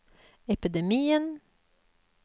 epidemien